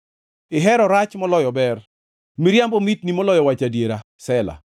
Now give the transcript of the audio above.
Ihero rach moloyo ber, miriambo mitni moloyo wacho adiera. Sela